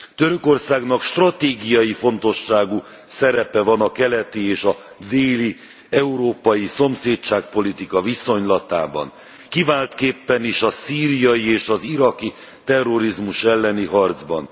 Törökországnak stratégiai fontosságú szerepe van a keleti és a déli európai szomszédságpolitika viszonylatában, kiváltképpen is a szíriai és az iraki terrorizmus elleni harcban.